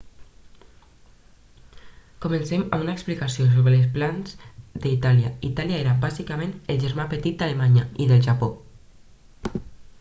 comencem amb una explicació sobre els plans d'itàlia itàlia era bàsicament el germà petit d'alemanya i del japó